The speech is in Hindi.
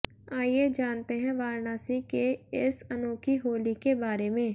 आइए जानते हैं वाराणसी के इस अनोखी होली के बारे में